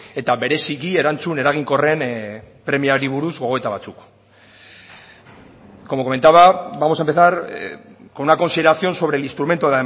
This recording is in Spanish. eta bereziki erantzun eraginkorren premiari buruz gogoeta batzuk como comentaba vamos a empezar con una consideración sobre el instrumento